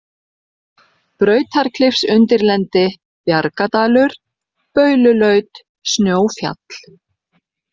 Brautarklifsundirlendi, Bjargadalur, Baululaut, Snjófjall